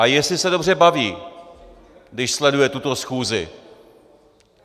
A jestli se dobře baví, když sleduje tuto schůzi.